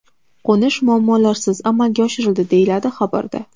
Qo‘nish muammolarsiz amalga oshirildi”, deyiladi xabarda.